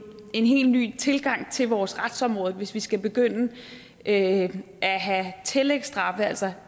en helt ny tilgang til vores retsområde hvis vi skal begynde at have tillægsstraffe altså at